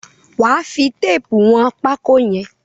Wà á fi téépù wọn pákó yẹn!